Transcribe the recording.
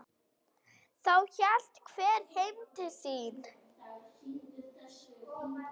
Þá hélt hver heim til sín.